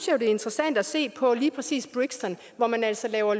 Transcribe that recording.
jo det er interessant at se på lige præcis brixton hvor man altså laver